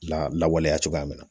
Lawaleya cogoya min na